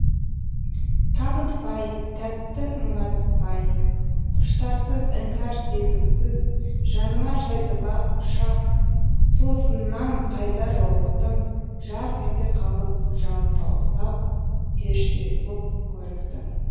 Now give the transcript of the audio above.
табынтпай тәтті мұңайтпай құштарсыз іңкәр сезімсіз жаныма жайды бақ құшақ тосыннан қайта жолықтың жарқ ете қалып жалтқа ұсап періштесі боп көріктің